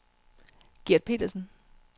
Gert Petersen